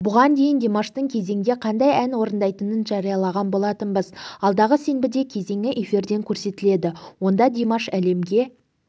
бұған дейін димаштың кезеңде қандай ән орындайтынын жариялаған болатынбыз алдағы сенбіде кезеңі эфирден көрсетіледі онда димаш әлемге